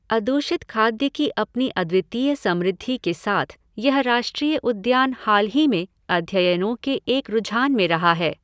अदूषित खाद्य की अपनी अद्वितीय समृद्धि के साथ यह राष्ट्रीय उद्यान हाल ही में अध्ययनों के एक रूझान में रहा है।